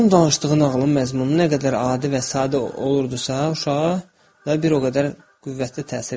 onun danışdığı nağılın məzmunu nə qədər adi və sadə olurdisa, uşağa bir o qədər qüvvətli təsir edirdi.